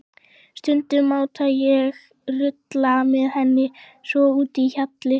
Stundum mátti ég rulla með henni þvott úti í hjalli.